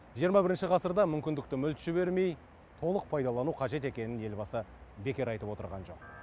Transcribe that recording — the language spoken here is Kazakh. жиырма бірінші ғасырдағы мүмкіндікті мүлт жібермей толық пайдалану қажет екенін елбасы бекер айтып отырған жоқ